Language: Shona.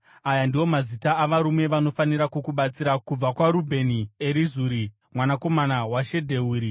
“Aya ndiwo mazita avarume vanofanira kukubatsira: “kubva kwaRubheni, Erizuri mwanakomana waShedheuri;